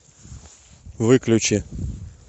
выключи